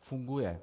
funguje.